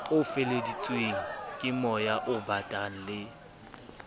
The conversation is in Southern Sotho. o feleheditsweng kemoya obatang le